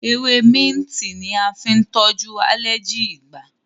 Ewe minti ní a fín tojú aleji igbà